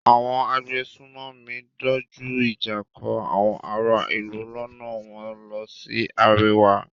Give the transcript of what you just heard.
Àwọn agbésùnmòmí dojú ìjà kan àwọn ará-ìlú lọ́nà wọ́n lọ sí àríwá.